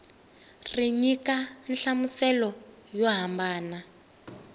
ri nyika nhlamuselo yo hambana